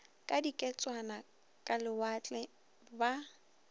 ka diketswana ka lewatle ba